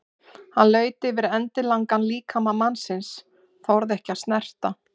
Hann laut yfir endilangan líkama mannsins, þorði ekki að snerta.